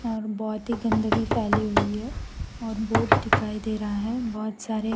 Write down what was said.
बहोत ही गंदगी फैली हुई है और बोट दिखाई दे रहा है बहोत सारे --